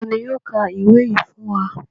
Ta ni yóò ka ìwé yìí fún wa?